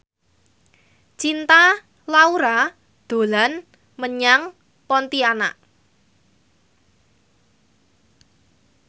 Cinta Laura dolan menyang Pontianak